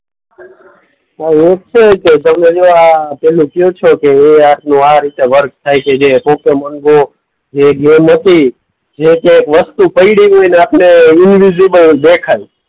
હા તમે જે આ પેલું કેવ છો કે એ આપણું આ રીતે વર્ક થાય છે જે પોકેમોન ગો જે ગેમ હતી. જે કંઈક વસ્તુ પડી હોઈને આપને ઈનવિઝિબલ દેખાય.